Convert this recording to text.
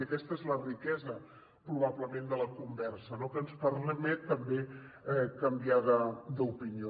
i aquesta és la riquesa probablement de la conversa no que ens permet també canviar d’opinió